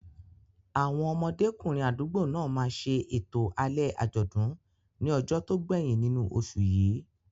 Àwọn ọmọdékùnrin àdúgbò náà máa ṣe ètò alẹ́ àjọ̀dún ní ọjọ́ tó gbẹ̀yìn nínú oṣù yìí.